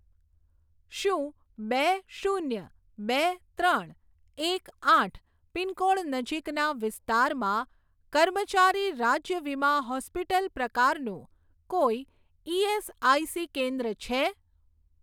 શું બે શૂન્ય બે ત્રણ એક આઠ પિનકોડ નજીકના વિસ્તારમાં કર્મચારી રાજ્ય વીમા હોસ્પિટલ પ્રકારનું કોઈ ઇએસઆઇસી કેન્દ્ર છે?